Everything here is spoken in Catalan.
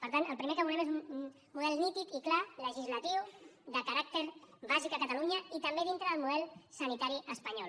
per tant el primer que volem és un model nítid i clar legislatiu de caràcter bàsic a catalunya i també dintre del model sanitari espanyol